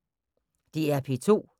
DR P2